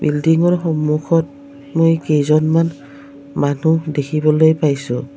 বিল্ডিঙৰ সন্মুখত মৈ কেইজনমান মানুহ দেখিবলৈ পাইছোঁ।